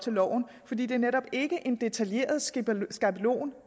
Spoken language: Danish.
til loven fordi det netop ikke er en detaljeret skabelon skabelon